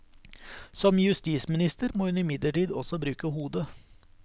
Som justisminister må hun imidlertid også bruke hodet.